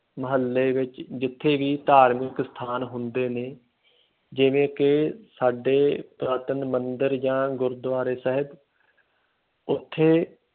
ਮੁਹੱਲੇ ਵਿੱਚ ਜਿੱਥੇ ਵੀ ਧਾਰਮਿਕ ਸਥਾਨ ਹੁੰਦੇ ਨੇ, ਜਿਵੇਂ ਕਿ ਸਾਡੇ ਪੁਰਾਤਨ ਮੰਦਿਰ ਜਾਂ ਗੁਰਦੁਆਰੇ ਸਾਹਿਬ ਉੱਥੇ